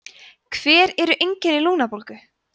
hver eru einkenni lungnabólgu